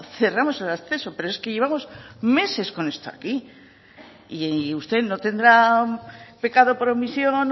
cerramos el acceso pero es que llevamos meses con esto aquí y usted no tendrá pecado por omisión